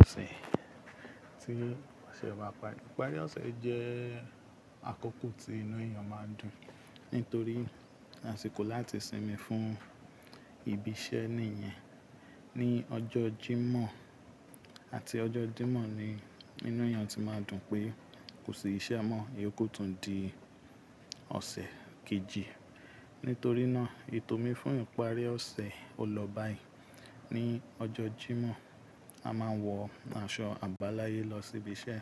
Òṣè tí ó ṣe wà, ìparí ọ̀sẹ̀ jẹ́ àkókò tí inú èèyàn máa dùn nítorí àsìkò láti sinmi fún ìbi iṣẹ́ nìyẹn. Ni ọjọ́ Jímọ̀ àti ọjọ́ Jímọ̀ ni inú èèyàn ti máa dùn pé kò sí iṣẹ́ mọ́. Èyí kò tún di ọ̀sẹ̀ kejì. Nítorí náà, ètò mi fún ìparí ọ̀sẹ̀ o lọ báyìí. Ni ọjọ́ Jímọ̀, a máa ń wọ aṣọ àbáláyé lọ sí ibi iṣẹ́.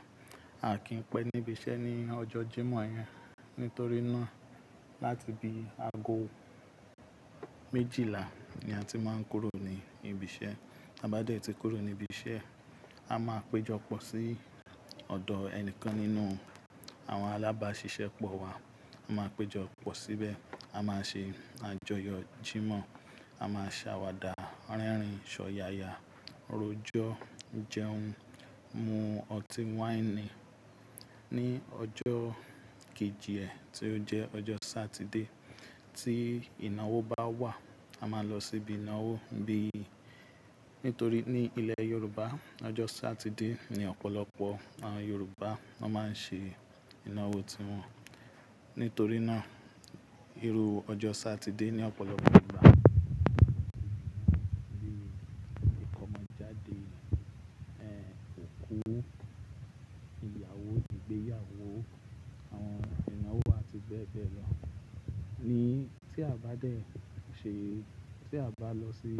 A kì í pẹ́ níbi iṣẹ́ ní ọjọ́ Jímọ̀ yẹn nítorí náà láti bi ago méjìlá ni a ti máa ń kúrò ní ibi iṣẹ́. A bá dẹ̀ ti kúrò ní ibi iṣẹ́, a máa péjọ pọ̀ sí ọ̀dọ̀ ẹnìkan nínú àwọn alábáṣiṣẹ́ pọ̀ wa. A máa péjọ pọ̀ síbẹ̀, a máa ṣe àjọyọ̀ Jímọ̀, a máa ṣàwàdà, rẹ́rìn ṣọ́yáyá, rójọ́, jẹun, mu ọtí wáìnì. Ni ọjọ́ kejì ẹ́ tí ó jẹ́ ọjọ́ Sátidé tí ìnáwó bá wà, a máa lọ síbi ìnáwó bíi nítorí ní ilẹ̀ Yorùbá, ọjọ́ Sátidé ni ọ̀pọ̀lọpọ̀ àwọn Yorùbá ná máa ń ṣe ìnáwó tiwọn. Nítorí náà, irú ọjọ́ Sátidé ní ọ̀pọ̀lọpọ̀ Yorùbá ń ṣe bíi ìkómọjáde, ẹ̀ òkú, ìyàwó, ìgbéyàwó, àwọn ìnáwó àti bẹ́ẹ̀ bẹ́ẹ̀ lọ. Ni tí a bá dẹ̀ ṣe, tí a bá lọ sí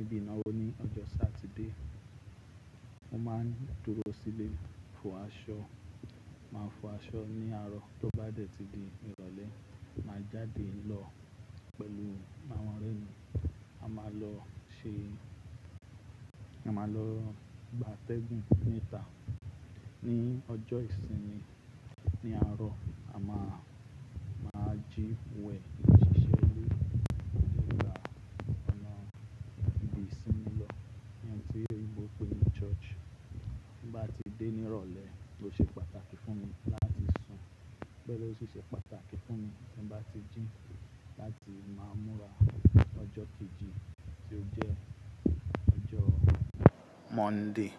ibi ìnáwó ní ọjọ́ Sátidé, mo máa ń dúró sílé fọ aṣọ. Máa fọ aṣọ ní àárọ̀ tó bá dẹ̀ ti di ìrọ̀lẹ́, màá jáde lọ pẹ̀lú àwọn ọ̀rẹ́ mi. A máa lọ ṣe, a máa lọ gba tẹ́gùn níta. Ni ọjọ́ ìsinmi ní àárọ̀, a máa, máa jí wẹ̀, ṣiṣẹ́ lé ọ̀rẹ́ wa, gbọ̀nà ibi ìsinmi lọ. Èèyàn tí yóò gbó pé ni ṣọ́ọ̀ṣì. Bí bá ti dé ní ìrọ̀lẹ́, ó ṣe pàtàkì fún mi láti sùn. Gẹ́lẹ́ sì ṣe pàtàkì fún mi tí bá ti jín láti máa múra lọ́jọ́ kejì tí ó jẹ́ ọjọ́ Monday.